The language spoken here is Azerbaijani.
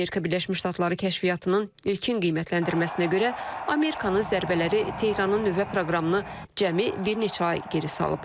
Amerika Birləşmiş Ştatları kəşfiyyatının ilkin qiymətləndirməsinə görə, Amerikanın zərbələri Tehranın nüvə proqramını cəmi bir neçə ay geri salıb.